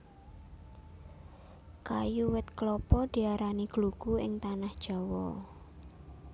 Kayu wit klapa diarani glugu ing Tanah Jawa